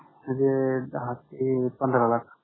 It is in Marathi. म्हणजे दहा ते पंधरा लाख.